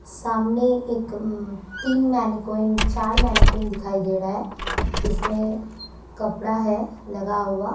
सामने एक तीन मैनीक्विन चार मैनीक्विन दिखाई दे रहा है जिसमें कपड़ा है लगा हुआ।